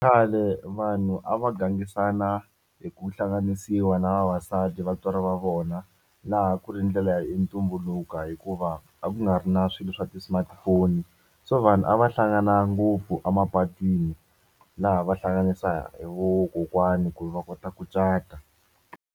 Khale vanhu a va gangisana hi ku hlanganisiwa na vavasati vatswari va vona laha ku ri ndlela ya ntumbuluko hikuva a ku nga ri na swilo swa ti smartphone so vanhu a va hlangana ngopfu emapatwini laha va hlanganisa hi vo kokwani ku va kota ku cata.